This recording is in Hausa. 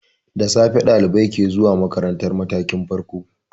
Da safe ɗalibai ke zuwa makarantar matakin farko.